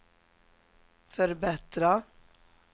förbättra